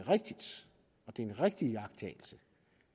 en rigtig iagttagelse